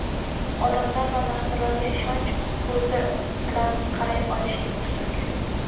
odamlar va narsalarga ishonch ko‘zi bilan qaray olishing tuzuk.